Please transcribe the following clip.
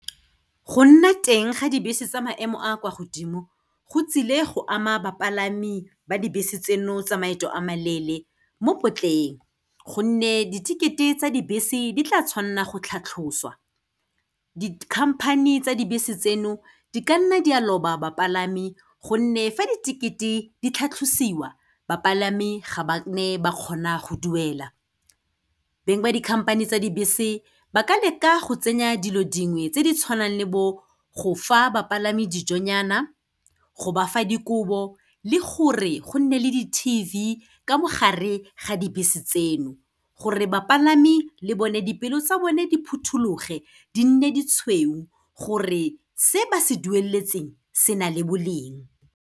Go nna teng ga dibese tsa maemo a kwa godimo, go tsile go ama bapalami ba dibese tseno tsa maeto a maleele mo potleng, gonne di-ticket-e tsa dibese di tla tshwanna go tlhatlhosiwa. Dikhamphane tsa dibese tseno, di ka nna di a loba bapalami, gonne fa di-ticket-e di tlhatlosiwa, bapalami ga ba nne ba kgona go duela. Beng ba dikhamphane tsa dibese ba ka leka go tsenya dilo dingwe tse di tshwanang le bo go fa bapalami dijonyana, go ba fa dikobo le gore gonne le di-T_V ka mogare ga dibese tseno, gore bapalami le bone dipeelo tsa bone di phuthologe di nne ditshweu gore se ba se dueletseng se na le boleng.